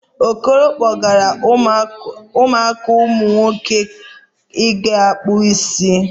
Okoro kpọgara ụmụaka umunwoke ịga kpụ isi